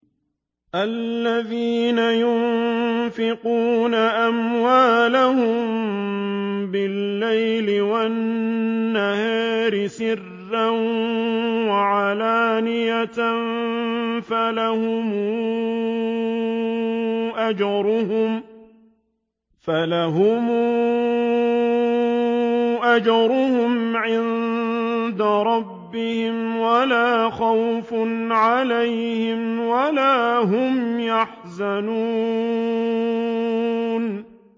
الَّذِينَ يُنفِقُونَ أَمْوَالَهُم بِاللَّيْلِ وَالنَّهَارِ سِرًّا وَعَلَانِيَةً فَلَهُمْ أَجْرُهُمْ عِندَ رَبِّهِمْ وَلَا خَوْفٌ عَلَيْهِمْ وَلَا هُمْ يَحْزَنُونَ